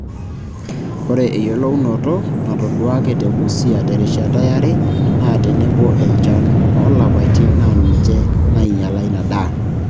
Ore eyiolounoto natoduaaki te Busia terishata yare naa tenebo enchan oolapaitin naa ninche naainyial ina daa.